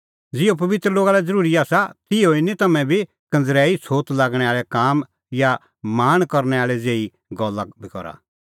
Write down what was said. ज़िहअ पबित्र लोगा लै ज़रूरी आसा तिहअ ई निं तम्हैं बी कंज़रैई छ़ोत लागणै आल़ै काम या लाल़च़े निं गल्ला बी करा